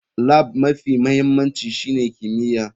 Lab mafi mahimmanci shine kimiyya.